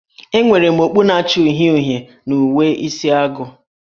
Enwere m okpu na-acha uhie uhie na uwe Isi agụ